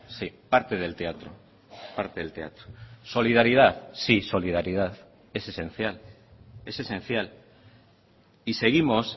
sí parte del teatro parte del teatro solidaridad sí solidaridad es esencial es esencial y seguimos